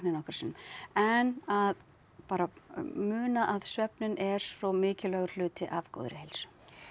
nokkrum sinnum en að bara muna svefninn er svo mikilvægur hluti af góðri heilsu